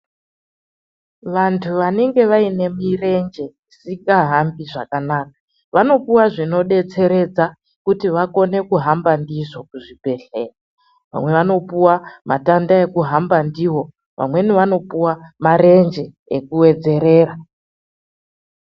Vandu vanenge vane murenje isingahambi zvakanaka vanopuwa zvinodetseredza kuti vakone kuhamba ndizvo kuzvibhehlera vamwe vanopuwa matanda ekuhamba ndiwo vamweni vopuwa murenje ekuwedzerera.